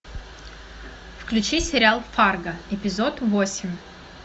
включи сериал фарго эпизод восемь